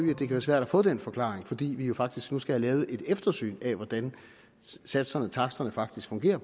det kan være svært at få den forklaring fordi vi jo faktisk nu skal have lavet et eftersyn af hvordan satserne taksterne faktisk fungerer